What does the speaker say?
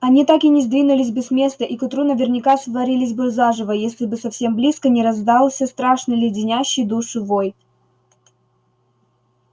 они так и не сдвинулись бы с места и к утру наверняка сварились бы заживо если бы совсем близко не раздался страшный леденящий душу вой